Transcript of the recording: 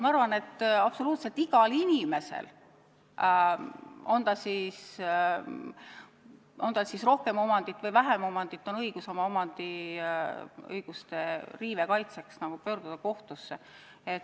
Ma arvan, et absoluutselt igal inimesel, on tal siis rohkem omandit või vähem omandit, on õigus oma omandiõiguste kaitseks pöörduda kohtusse.